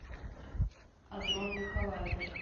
адронный коллайдер